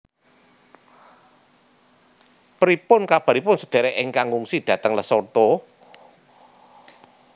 Pripun kabaripun sedherek ingkang ngungsi dateng Lesotho?